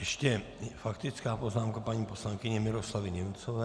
Ještě faktická poznámka paní poslankyně Miroslavy Němcové.